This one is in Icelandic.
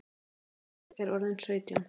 Ég er orðin sautján!